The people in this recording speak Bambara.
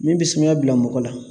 Min bɛ sumaya bila mɔgɔ la